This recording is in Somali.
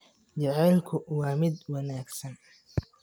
Jacaylku waa mid wanaagsan.